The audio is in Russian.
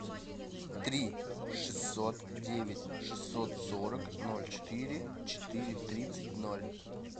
три шестьсот девять шестьсот сорок ноль четыре четыре тридцать ноль